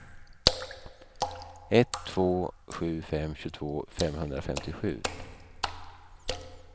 ett två sju fem tjugotvå femhundrafemtiosju